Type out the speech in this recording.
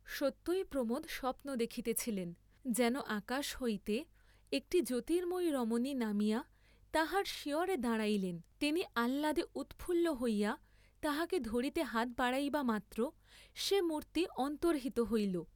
সত্যই প্রমোদ স্বপ্ন দেখিতেছিলেন, যেন আকাশ হইতে একটি জ্যোতির্ম্ময়ী রমণী নামিয়া তাঁহার শিয়রে দাঁড়াইলেন, তিনি আহ্লাদে উৎফুল্ল হইয়া তাহাকে ধরিতে হাত বাড়াইবা মাত্র সে মূর্ত্তি অন্তর্হিত হইল।